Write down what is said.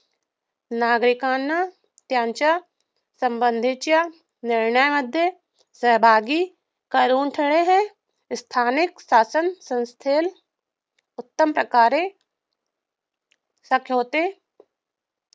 नागरिकांना त्यांच्या संबंधीच्या निर्णयामध्ये सहभागी करून घेणे हे स्थानिक शासनसंस्थेला उत्तमप्रकारे जमते.